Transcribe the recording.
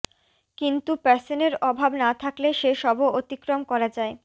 কিন্তু প্যাশনের অভাব না থাকলে সে সবও অতিক্রম করা যায়